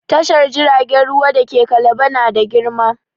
Tashar jiragen ruwa da ke Kalaba na da girma.